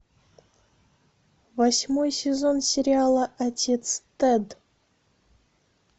восьмой сезон сериала отец тед